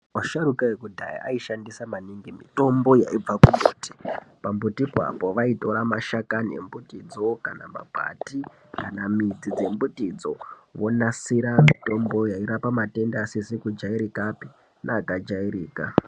Asharukwa ekudhaya aishandisa maningi mitombo yaibva kumbuti. Pambutipo vaitora mashakani, makwati kana midzi dzembitidzo vonasira mutombo yairape matenda aisizi kujairikapi nekajairka.